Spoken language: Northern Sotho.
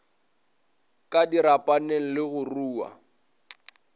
ka dirapaneng le go rua